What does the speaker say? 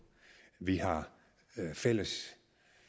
vi har fælles